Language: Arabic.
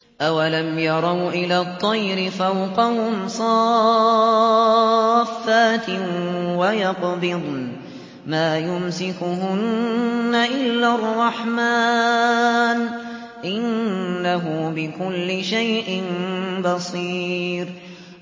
أَوَلَمْ يَرَوْا إِلَى الطَّيْرِ فَوْقَهُمْ صَافَّاتٍ وَيَقْبِضْنَ ۚ مَا يُمْسِكُهُنَّ إِلَّا الرَّحْمَٰنُ ۚ إِنَّهُ بِكُلِّ شَيْءٍ بَصِيرٌ